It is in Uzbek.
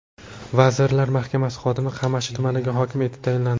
Vazirlar Mahkamasi xodimi Qamashi tumaniga hokim etib tayinlandi.